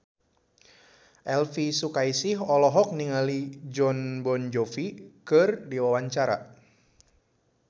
Elvi Sukaesih olohok ningali Jon Bon Jovi keur diwawancara